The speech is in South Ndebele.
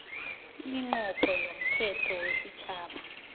iminqopho yomthetho wesitjhaba